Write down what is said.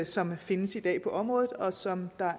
som findes i dag på området og som der